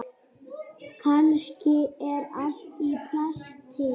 Kannski er allt í plati.